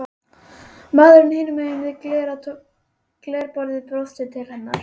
Maðurinn hinum megin við glerborðið brosir til hennar.